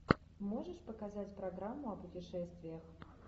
можешь показать программу о путешествиях